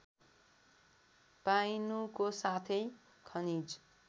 पाइनुको साथै खनिज